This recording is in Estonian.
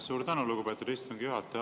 Suur tänu, lugupeetud istungi juhataja!